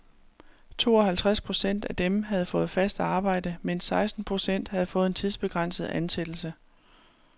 Tooghalvtres procent af dem havde fået fast arbejde, mens seksten procent havde fået en tidsbegrænset ansættelse.